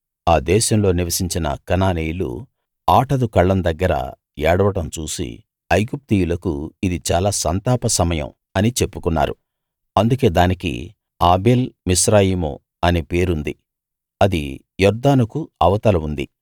ఆ దేశంలో నివసించిన కనానీయులు ఆటదు కళ్ళం దగ్గర ఏడవడం చూసి ఐగుప్తీయులకు ఇది చాలా సంతాప సమయం అని చెప్పుకున్నారు అందుకే దానికి ఆబేల్‌ మిస్రాయిము అనే పేరుంది అది యొర్దానుకు అవతల ఉంది